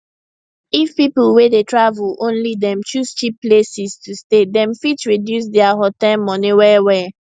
if people way dey travel only dem choose cheap places to stay dem fit reduce their hotel money well well